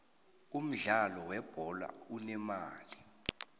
umudlalo we bholo unemali